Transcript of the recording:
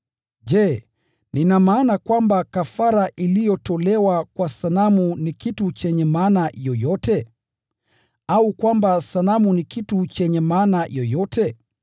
Je, nina maana kwamba kafara iliyotolewa kwa sanamu ni kitu chenye maana yoyote? Au kwamba sanamu ni kitu chenye maana yoyote?